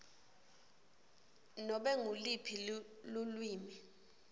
nobe nguluphi lulwimi